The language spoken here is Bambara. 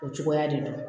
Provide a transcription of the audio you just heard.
O cogoya de don